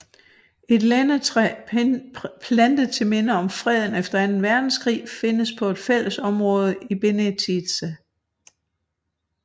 Et lindetræ plantet til minde om freden efter anden verdenskrig findes på et fælledområde i Benetice